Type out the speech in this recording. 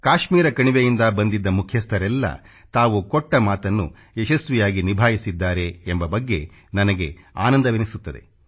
ಕಾಶ್ಮೀರ ಕಣಿವೆಯಿಂದ ಬಂದಿದ್ದ ಮುಖ್ಯಸ್ಥರೆಲ್ಲ ತಾವು ಕೊಟ್ಟ ಮಾತನ್ನು ಯಶಸ್ವಿಯಾಗಿ ನಿಭಾಯಿಸಿದ್ದಾರೆ ಎಂಬ ಬಗ್ಗೆ ನನಗೆ ಆನಂದವೆನಿಸುತ್ತದೆ